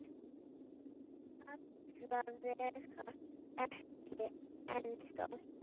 Alla vega ekki ennþá.